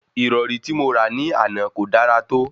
Ìrọ̀rí tí mo rà ní àná kò dára tó